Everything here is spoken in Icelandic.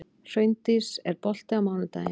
Hraundís, er bolti á mánudaginn?